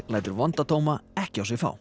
lætur vonda dóma ekki á sig fá